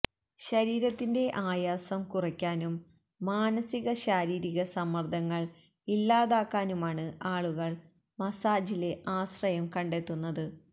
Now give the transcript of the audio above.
ശരീരത്തിന്റെ ആയാസം കുറയ്ക്കാനും മാനസിക ശാരീരിക സമ്മര്ദ്ദങ്ങള് ഇല്ലാതാക്കാനുമാണ് ആളുകള് മസാജില് ആശ്രയം കണ്ടെത്തുന്നത്